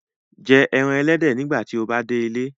Jẹ ẹran ẹlẹdẹ nigbati o ba de ile